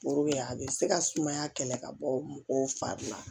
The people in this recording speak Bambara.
a bɛ se ka sumaya kɛlɛ ka bɔ mɔgɔw fari la